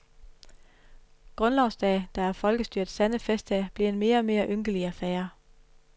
Grundlovsdag, der er folkestyrets sande festdag, bliver en mere og mere ynkelig affære.